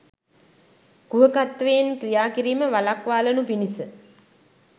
කුහකත්වයෙන් ක්‍රියා කිරීම වළක්වාලනු පිණිස